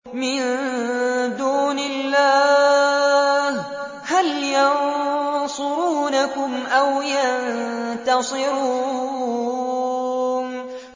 مِن دُونِ اللَّهِ هَلْ يَنصُرُونَكُمْ أَوْ يَنتَصِرُونَ